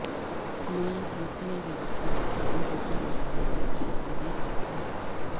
নয়া ইউপিআই ব্যবস্থার মাধ্যমে দ্রুত এই ধরনের লেনেদেন বাড়বে কারণ